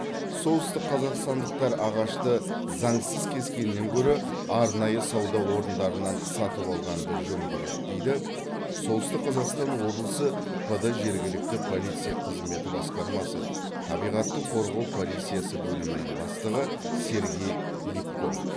солтүстікқазақстандықтар ағашты заңсыз кескеннен гөрі арнайы сауда орындарынан сатып алғанды жөн көреді дейді солтүстік қазақстан облысы пд жергілікті полиция қызметі басқармасы табиғатты қорғау полициясы бөлімінің бастығы сергей липко